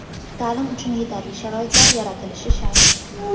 Ta’lim uchun yetarli sharoitlar yaratilishi shart.